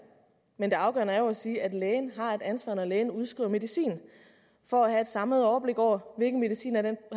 men det afgørende er jo at sige at lægen har et ansvar når lægen udskriver medicin for at have et samlet overblik over hvilken medicin